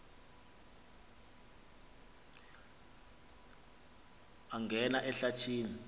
angena ehlathi ni